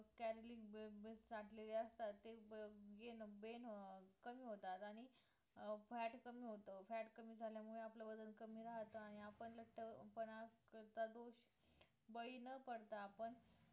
calorie bulk bulk साठलेल्या असतात gain कमी होतात आणि fat कमी होतं fat कमी झाल्या मुळे आपलं वजन कमी राहतं आणि आपण लट्ठेपणा करता बळी न पडता आपण